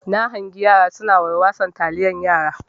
Na hangi yara suna warwason taliyan yara.